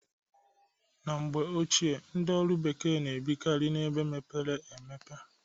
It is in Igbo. Na mgbe ochie ndị ọrụ bekee na-ebikarị na ebe mepere emepe.